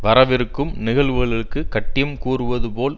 வரவிருக்கும் நிகழ்வுகளுக்கு கட்டியம் கூறுவது போல்